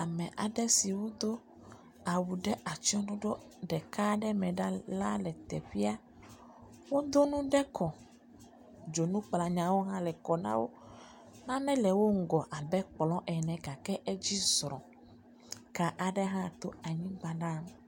ame aɖe siwo dó awu ɖe atsɔɖoɖo ɖeka ɖe me ɖa la lɛ tɛƒia wodó nu ɖe kɔ dzoŋu hã lɛ kɔ nawo nane lɛ wó ŋgɔ abɛ kplɔ ene gakɛ edzi zrɔ ka aɖe hã to anyigbã nawo